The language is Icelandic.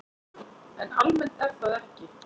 En almennt er það ekki.